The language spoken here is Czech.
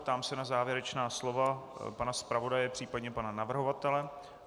Ptám se na závěrečná slova pana zpravodaje, případně pana navrhovatele.